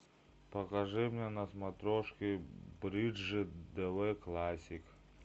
покажи мне на смотрешке бридж тв классик